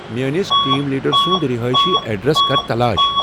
میٲنس team leader سُند رِہٲیشی ایدرس کر تلاش ۔